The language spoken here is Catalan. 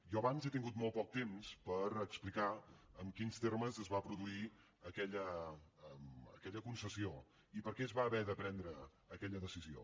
jo abans he tingut molt poc temps per explicar en quins termes es va produir aquella concessió i per què es va haver de prendre aquella decisió